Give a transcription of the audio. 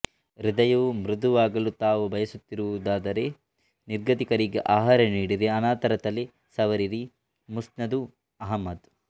ಹೃದಯವು ಮೃದುವಾಗಲು ತಾವು ಬಯಸುತ್ತಿರುವಿರಾದರೆ ನಿರ್ಗತಿಕರಿಗೆ ಆಹಾರ ನೀಡಿರಿ ಅನಾಥರ ತಲೆ ಸವರಿರಿ ಮುಸ್ನದು ಅಹ್ಮದ್